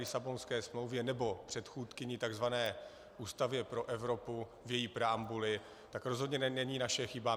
Lisabonské smlouvě, nebo předchůdkyni, tzv. Ústavě pro Evropu, v její preambuli, to rozhodně není naše chyba.